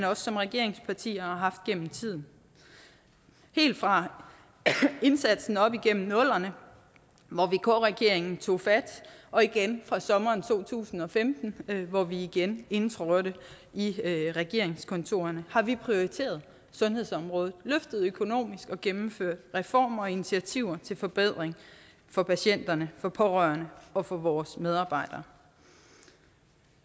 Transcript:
også som regeringsparti har haft gennem tiden helt fra indsatsen op igennem nullerne hvor vk regeringen tog fat og igen fra sommeren to tusind og femten hvor vi igen indtrådte i regeringskontorerne har vi prioriteret sundhedsområdet løftet det økonomisk og gennemført reformer og initiativer til forbedring for patienterne for pårørende og for vores medarbejdere